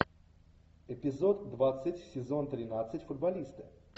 эпизод двадцать сезон тринадцать футболисты